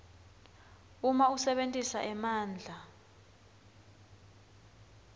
uma usebentisa emandla